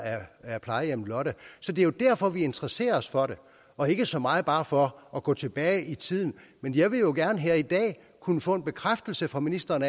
af plejehjemmet lotte så det er jo derfor vi interesserer os for det og ikke så meget bare for at gå tilbage i tiden men jeg vil jo gerne her i dag kunne få en bekræftelse fra ministeren